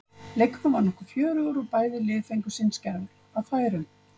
Leikurinn var nokkuð fjörugur og fengu bæði lið sinn skerf af færum.